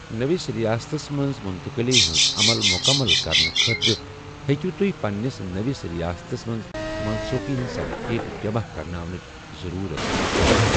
نٔوِس رِیاستس منٛز مُنتقِلی ہِنٛز عمل مُکمل کرنہٕ خٲطرٕ ہیٚکیو تۄہہِ پنٛنِس نٔوِس رِیاستَس منٛز منسوٗخی ہِنٛز سٔرٹِفِکیٹ جمع کرناونٕچ ضٔروٗرت پیٚتھ ۔